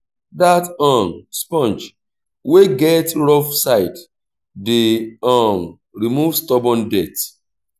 dat um sponge wey get rough side dey um remove stubborn dirt.